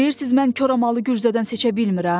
Deyirsiz mən koramalı gürzədən seçə bilmirəm?